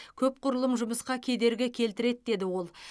көпқұрылым жұмысқа кедергі келтіреді деді ол